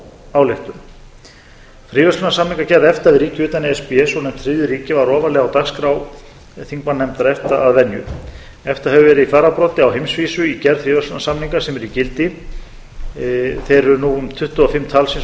ályktun fríverslunarsamningagerð efta við ríki utan e s b svonefnd þriðju ríki var ofarlega á dagskrá þingmannanefndar efta að venju efta hefur verið í fararbroddi á heimsvísu í gerð fríverslunarsamninga sem eru í gildi þeir eru nú um tuttugu og fimm talsins